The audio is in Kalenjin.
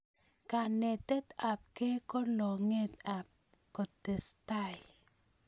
kanetet apkei ko longet ap kotestai